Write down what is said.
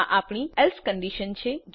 આ આપણી else condition છે